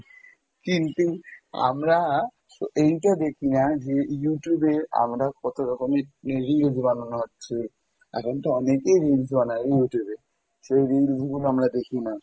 কিন্তু আমরা এইটা দেখি না যে Youtube এ আমরা কত রকমের reels বানানো হচ্ছে, এখন তো অনেকেই reels বানাই Youtube এ, সেই reels গুলো আমরা দেখি না।